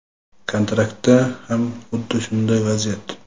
kontraktda ham xuddi shunday vaziyat.